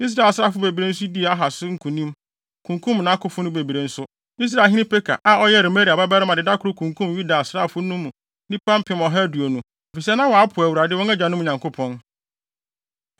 Israelhene Peka, a ɔyɛ Remalia babarima de da koro kunkum Yuda asraafo no nnipa mpem ɔha aduonu, efisɛ na wɔapo Awurade, wɔn agyanom Nyankopɔn.